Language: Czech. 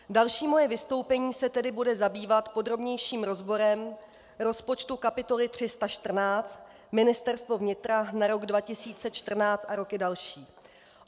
Další moje vystoupení se tedy bude zabývat podrobnějším rozborem rozpočtu kapitoly 314 - Ministerstvo vnitra na rok 2014 a roky další.